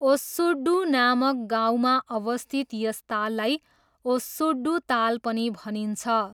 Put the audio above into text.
ओस्सुडू नामक गाउँमा अवस्थित यस ताललाई ओस्सुडू ताल पनि भनिन्छ।